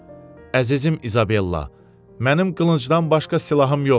Əzizim İzabella, mənim qılıncdan başqa silahım yoxdur.